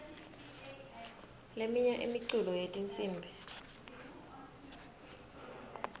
leminye imiculo yetinsimbi